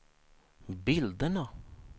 bilderna